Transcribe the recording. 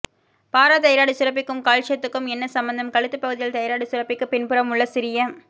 பாரா thyroid சுரப்பிக்கும் கால்சியதுக்கும் என்ன சம்பந்தம் கழுத்துப் பகுதியில் தைராய்டு சுரப்பிக்கு பின்புறம் உள்ள சிறிய